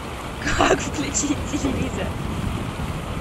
как включить телевизор